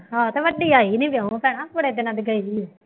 ਹਾਂ ਅਤੇ ਵੱਡੀ ਆਈ ਨਹੀਂ, ਲਿਆਉਣਾ ਪੈਣਾ ਬੜੇ ਦਿਨਾਂ ਦੀ ਗਈ ਹੋਈ